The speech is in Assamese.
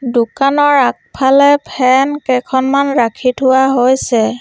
দোকানৰ আগফালে ফেন কেইখনমান ৰাখি থোৱা হৈছে।